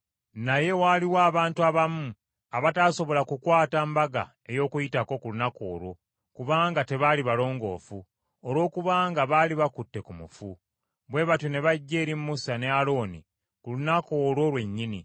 Naye waaliwo abantu abamu abataasobola kukwata Mbaga ey’Okuyitako ku lunaku olwo, kubanga tebaali balongoofu olwokubanga baali bakutte ku mufu. Bwe batyo ne bajja eri Musa ne Alooni ku lunaku olwo lwennyini,